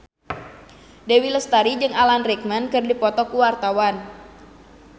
Dewi Lestari jeung Alan Rickman keur dipoto ku wartawan